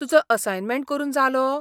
तुजो असायनमेंट करून जालो?